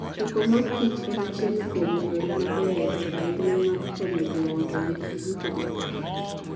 Choko mor kich en achiel kuom yore mabeyo ahinya mag konyo joot obed gi yuto maber.